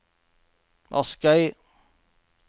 Askøy